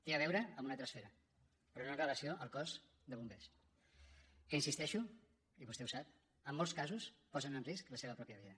té a veure amb una altra esfera però no amb relació al cos de bombers que hi insisteixo i vostè ho sap en molts casos posen en risc la seva pròpia vida